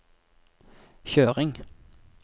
kjøring